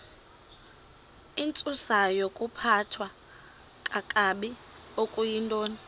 intsusayokuphathwa kakabi okuyintoni